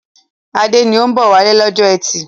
Adé ni ó ń bọ̀ wálé lọ́jọ́ ẹtì.